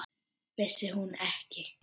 Vissi hún ekki!